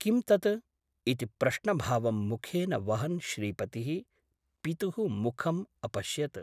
किं तत् ?' इति प्रश्नभावं मुखेन वहन् श्रीपतिः पितुः मुखम् अपश्यत् ।